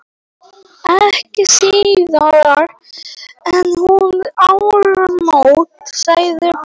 Ekki síðar en um áramót, sagði baróninn.